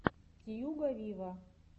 тьюга виво